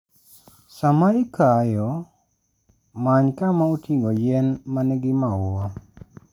Sama ikayo, many kama oting'o yien ma nigi maua.